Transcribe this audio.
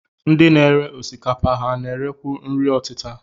Ndị na-ere osikapa, ha na-erekwu nri ọtịta?